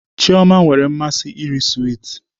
Chioma nwere mmasị iri swiiti